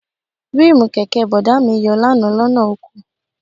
Ríìmù kẹ̀kẹ́ Bọ̀dá mi yọ lánàá lọ́nà oko